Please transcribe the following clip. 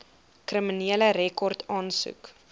kriminele rekord aansoek